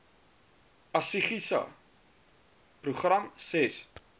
asgisa program ses